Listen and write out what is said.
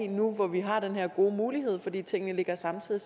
nu hvor vi har den her gode mulighed fordi tingene ligger samtidig